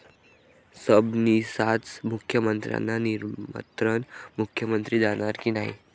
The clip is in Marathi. सबनीसांचं मुख्यमंत्र्यांना निमंत्रण, मुख्यमंत्री जाणार की नाही?